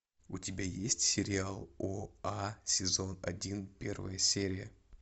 у тебя есть сериал оа сезон один первая серия